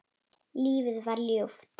Lífið var ljúft.